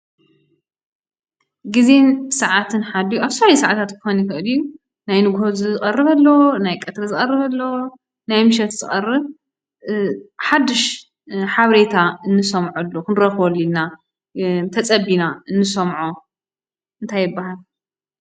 ግዜን ስዓትን ሓልዩ ኣብ ዝተፈላለዩ ስዓታት ክኾን ይኽእል እዩ፡፡ ናይ ንጉሆ ዝቀርብ ኣሎ፣ ናይ ቀትሪ ዝቀርብ ኣሎ፣ ናይ ምሸት ዝቀርብ ኣሎ ሓዱሽ ሓበሬታ እንሰምዐሉ ክንረክበሉ ኢልና ተፀቢና እንሰምዖ እንታይ ይብሃል?